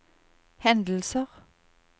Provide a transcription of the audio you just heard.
hendelser